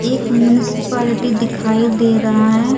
एक मुनासिपार्टी दिखाई दे रहा है।